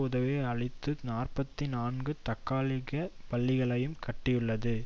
உதவி அளித்து நாற்பத்தி நான்கு தற்காலிகப் பள்ளிகளையும் கட்டியுள்ளது